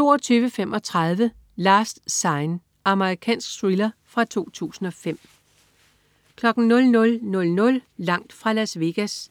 22.35 Last Sign. Amerikansk thriller fra 2005 00.00 Langt fra Las Vegas*